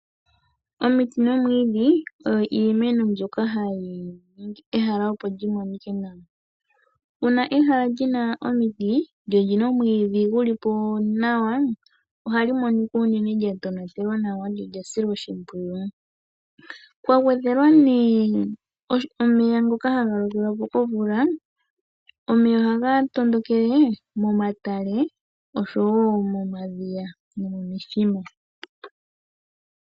Omiti nomwiidhi oyo iimeno mbyoka hayi ningi ehala opo li monike nawa .Uuna ehala li na omiti ,lyo oli na omwiidhi guli po nawa ohali monika unene lya tonatelwa nawa nenge lya silwa oshipwiyu. Kwa gwedhelwa omeya ngoka haga lokelwa mo komvula , omeya ohaga tondokele momatale oshowo momadhiya.